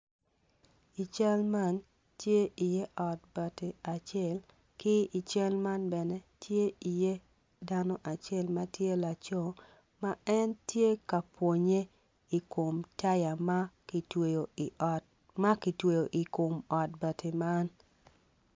I cal man tye iye ot bati acel ki i cal man bene tye iye dano acel ma tye laco ma en tye ka pwonnye i kom taya ma kitweyo i ot ma kitweyo i kom ot bati man.